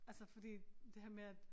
Altså fordi det her med at